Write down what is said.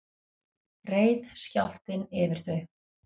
reið skjálftinn yfir þau